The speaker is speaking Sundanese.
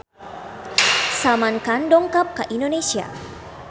Salman Khan dongkap ka Indonesia